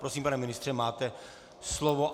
Prosím, pane ministře, máte slovo.